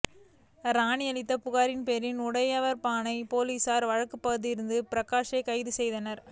ராணி அளித்த புகாரின் பேரில் உடையாா்பாளையம் போலீஸாா் வழக்குப் பதிந்து பிரகாஷை கைது செய்தனா்